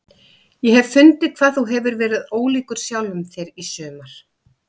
Ég hef fundið hvað þú hefur verið ólíkur sjálfum þér í sumar.